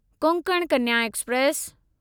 Konkan Kanya express